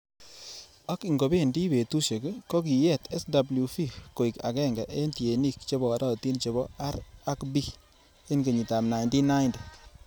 Ak ingobendi betusiek, Kokiyet SWV koik agenge en tienik che borotin chebo R ak B en kenyitab 1990.